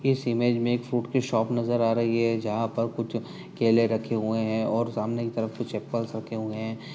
इस इमेज में एक फ़ूड की शॉप नजर आ रही है जहां पर कुछ केले रखे हुए हैं और सामने की तरफ कुछ एपल रखे हुए हैं।